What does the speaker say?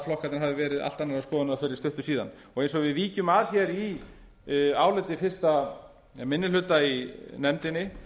flokkarnir hafi verið allt annarrar skoðunar fyrir stuttu síðan og eins og við víkjum að í áliti fyrsti minni hluta í nefndinni